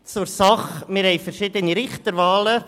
Zur Sache: Wir haben verschiedene Richterwahlen.